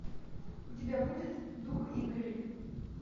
у тебя будет дух игры